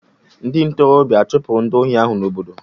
Ndị ntorobịa a chụpụrụ ndị ohi ahụ n'obodo?